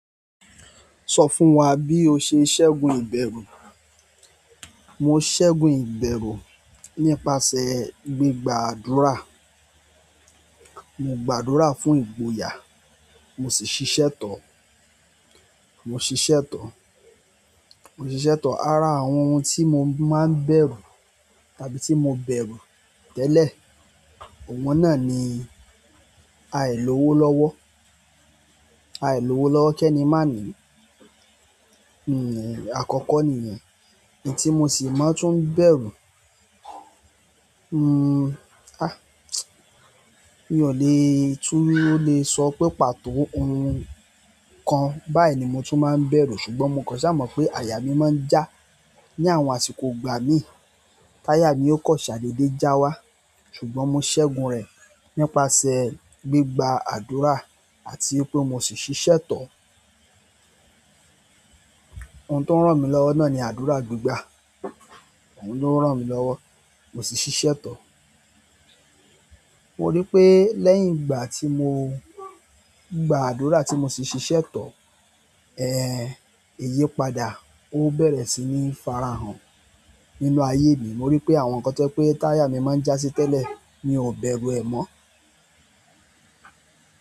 Sọ fún wa bí o ṣe ṣẹ́gun ìbẹ̀rù. Mo ṣẹ́gun ìbẹ̀rù nípasẹ̀ gbígba àdúrà. Mo gba ádùrá fún ìgboyà mo sì ṣiṣe tọ̀. Mo ṣiṣẹ́ tán. Mo ṣiṣẹ́ tán. Ara àwọn ohun tí mo máa ń bẹ̀rù tàbí tí mo bẹ̀rù tẹ́lẹ̀, òun náà ni àìlówo lọ́wọ́. Àìlówo lọ́wọ́ kẹ́ni má ni, n nì, àkọ́kọ́ nìyẹn. Ẹni tí mo sì máa ń tú ń bẹ̀rù, n n, a, mi ò le, tún le sọ pé pàtó ohun kan báyìí ni mo tún máa ń bẹ̀rù. Ṣùgbọ́n mo kàn ṣà mọ̀ pé àyà mi máa ń já ní àwọn àsìkò ìgbà mín. Táyà mi ó kọ̀ ṣàdédé já wá, ṣùgbọ́n mo ṣẹ́gun rẹ̀ nípasẹ̀ gbígba àdúrà àti pé mo sì ṣiṣẹ́ tọ̀. Ohun tó ń ràn mí lọ́wọ́ náà ni àdúrà gbígbà. Òun ló ń ràn mí lọ́wọ́, mo sì ṣiṣẹ́ tán. Mo rí pé lẹ́yìn ìgbà tí mo gba àdúrà tí mo sì ṣiṣẹ́ tọ̀, ẹ, ìyípadà, ó bẹ̀rẹ̀ sí ní farahàn nínú ayé mi. Mo rí pé àwọn ǹkan tí wípé táyà mi máa ń já sí tẹ́lẹ̀, mi ò bẹ̀rù ẹ mọ́.